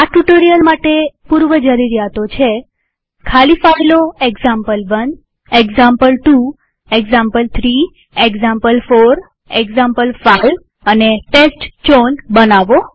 આ ટ્યુ્ટોરીઅલ માટે પૂર્વજરૂરીયાતો છે160 ખાલી ફાઈલો example one example two example three example four example five અને ટેસ્ટચાઉન બનાવવી